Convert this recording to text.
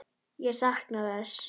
Ég sakna þess.